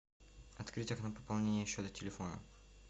открыть окно пополнения счета телефона